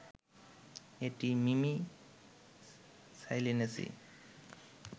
এটি মিমি সাইলিনেসি